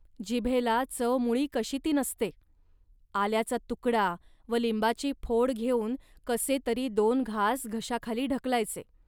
जिभेला चव मुळी कशी ती नसते. आल्याचा तुकडा व लिंबाची फोड घेऊन कसे तरी दोन घास घशाखाली ढकलायचे